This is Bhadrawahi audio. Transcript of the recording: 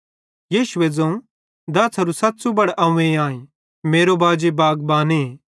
यीशुए ज़ोवं अवं दाछ़ारू सच़्च़ू बड़ह अव्वें आईं ते मेरो बाजी बागबाने